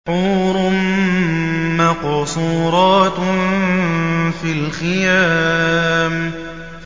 حُورٌ مَّقْصُورَاتٌ فِي الْخِيَامِ